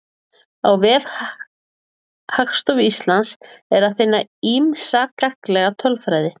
Á vef Hagstofu Íslands er að finna ýmsa gagnlega tölfræði.